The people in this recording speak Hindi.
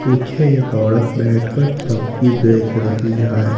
पीछे एक औरत बैठकर सब्जी बेच रही है।